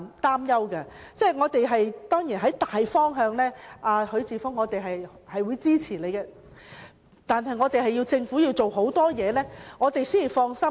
當然，我們會在大方向上支持許智峯議員的議案，但政府須做很多工夫，我們才能放心。